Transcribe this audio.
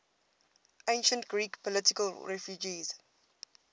ancient greek political refugees